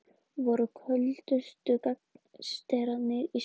Voru köldustu gangsterarnir í smá tíma